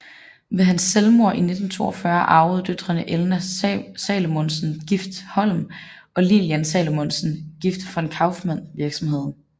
Ved hans selvmord i 1942 arvede døtrene Elna Salomonsen gift Holm og Lillian Salomonsen gift von Kauffmann virksomheden